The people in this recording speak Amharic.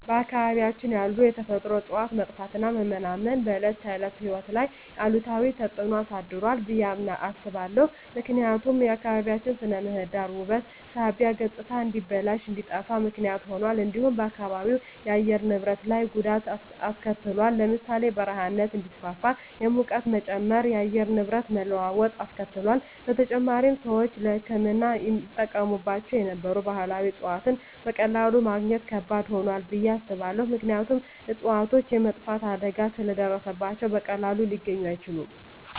በአካባቢያችን ያሉ የተፈጥሮ እፅዋት መጥፋትና መመናመን በዕለት ተዕለት ሕይወት ላይ አሉታዊ ተጽዕኖ አሳድሯል ብየ አስባለሁ። ምክንያቱም የአካባቢያችን ስነ ምህዳር ውበት ሳቢነት ገፅታ እንዲበላሽ እንዲጠፋ ምክንያት ሁኗል። እንዲሁም በአካባቢው የአየር ንብረት ላይ ጉዳት አሰከትሏል ለምሳሌ ( በረሃማነት እንዲስፋፋ፣ የሙቀት መጨመር፣ የአየር ንብረት መለዋወጥ አስከትሏል። በተጨማሪም፣ ሰዎች ለሕክምና ይጠቀሙባቸው የነበሩ ባህላዊ እፅዋትን በቀላሉ ማግኘት ከባድ ሆኗል ብየ አስባለሁ። ምክንያቱም እፅዋቶቹ የመጥፋት አደጋ ስለ ደረሰባቸው በቀላሉ ሊገኙ አይችሉም።